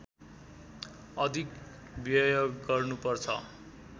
अधिक व्यय गर्नु पर्छ